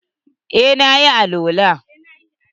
Eh, na yi alwala.